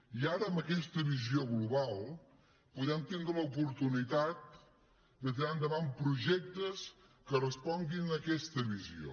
i ara amb aquesta visió global podem tindre l’oportunitat de tirar endavant projectes que responguin a aquesta visió